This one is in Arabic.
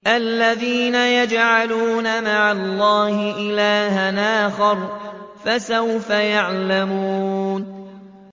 الَّذِينَ يَجْعَلُونَ مَعَ اللَّهِ إِلَٰهًا آخَرَ ۚ فَسَوْفَ يَعْلَمُونَ